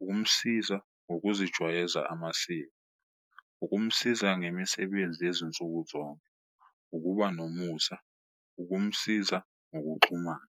ukumsiza ngokuzijwayeza amasiko, ukumsiza ngemisebenzi yezinsuku zonke, ukuba nomusa, ukumsiza ngokuxhumana.